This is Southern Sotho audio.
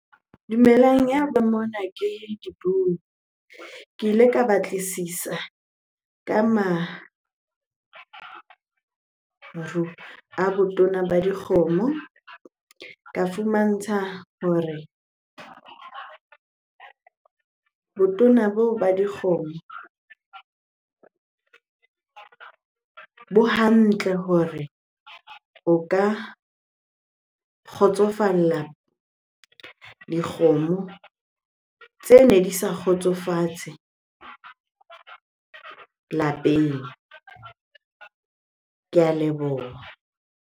Dumelang, ya ba mona ke Dipuo. Ke ile ka batlisisa ka maru a botona ba dikgomo. Ka fumantsha hore botona boo ba dikgomo bo hantle hore o ka kgotsofalla dikgomo tsene di sa kgotsofatse lapeng. Ke a leboha.